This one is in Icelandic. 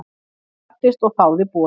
Ég gladdist og þáði boðið.